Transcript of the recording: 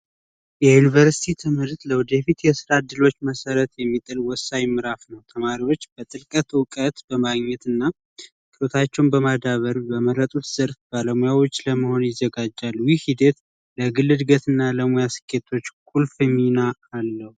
የዩኒቨርስቲ ትምህርት ለወደፊት የስራ እድሎች መሰረት የሚጥል ወሳኝ ምዕራፍ ነው። ተማሪዎች እውቀት በማግኘት እና እውቀታቸውን በማዳበር በመረጡት ስር ባለሙያዎች ለመሆን ይዘጋጃሉ። ይህ ሂደት ለግል እድገት እና ለሙያ ስኬቶች ቁልፍ ሚና አለው።